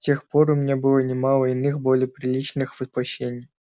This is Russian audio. с тех пор у меня было немало иных более приличных воплощений